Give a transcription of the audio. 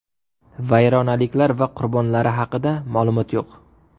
Vayronaliklar va qurbonlari haqida ma’lumot yo‘q.